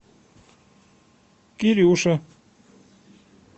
кирюша